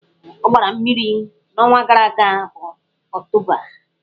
Ọ gbara mmiri n'ọnwa gara aga bụ Ọktoba.